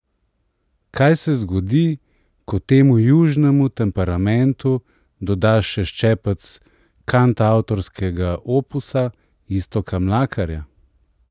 Kaj se zgodi, ko temu južnemu temperamentu dodaš še ščepec kantavtorskega opusa Iztoka Mlakarja?